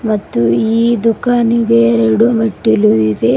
ಮತ್ತೆ ಈ ದುಃಖಾನಿಗೆ ಎರಡು ಮೆಟ್ಟಿಲುಗಳಿವೆ.